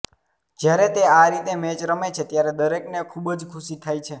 જ્યારે તે આ રીતે મેચ રમે છે ત્યારે દરેકને ખુબજ ખુશી થાય છે